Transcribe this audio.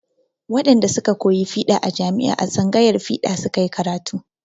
Wadanda su ka koyi fiɗa a jami'a a tsangayar fiɗa su ka yi karatu.